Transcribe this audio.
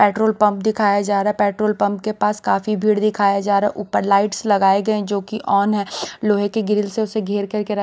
petrol pump दिखाया जा रहा है पेट्रोल पंप के पास काफी भीड़ दिखाया जा रहा है ऊपर लाइट्स लगाए गए जो कि ऑन है लोहे के ग्रिल से उसे घेर करके--